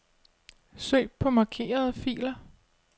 Søg på markerede filer.